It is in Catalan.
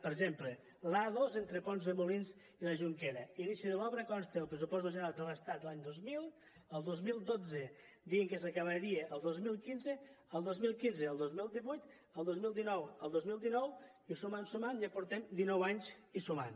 per exemple l’a dos entre pont de molins i la jonquera l’inici de l’obra consta als pressupostos generals de l’estat l’any dos mil el dos mil dotze deien que s’acabaria al dos mil quinze el dos mil quinze al dos mil divuit el dos mil divuit al dos mil dinou i sumant sumant ja portem dinou anys i sumant